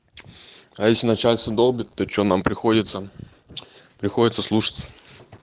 а если начальство долбит то что нам приходится приходится слушаться